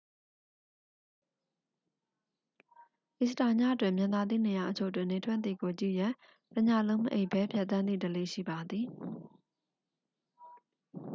အီစတာညတွင် မြင်သာသည့်နေရာအချို့တွင် နေထွက်သည်ကိုကြည့်ရန် တစ်ညလုံးမအိပ်ဘဲဖြတ်သန်းသည့်ဓလေ့ ရှိပါသည်